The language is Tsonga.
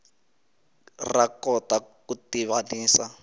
ra kota ku tivanisa